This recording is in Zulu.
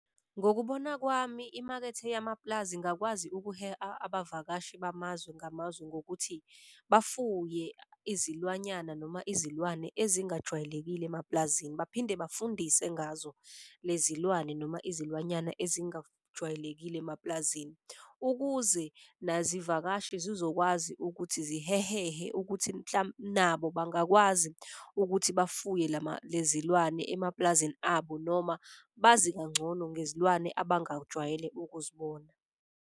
Ngokubona kwami, imakethe yamapulazi ingakwazi ukuheha abavakashi bamazwe ngamazwe ngokuthi bafuye izilwanyana noma izilwane ezingajwayelekile emapulazini. Baphinde bafundise ngazo lezi lwane noma izilwanyana ezingajwayelekile emapulazini ukuze nazi vakashi zizokwazi ukuthi zihehehe ukuthi nabo bangakwazi ukuthi bafuye lezi lwane emapulazini abo, noma bazi kangcono ngezilwane abangajwayele ukuzibona.